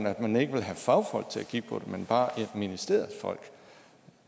at man ikke vil have fagfolk til at kigge på det men bare ministeriets folk